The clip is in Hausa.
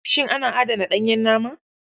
Shin ana adana ɗanyen nama?